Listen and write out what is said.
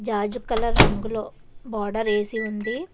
రాజు colour రంగులో border వేసి ఉంది.